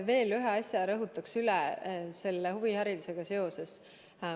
Ma ühe asja veel rõhutaks üle selle huviharidusega seoses.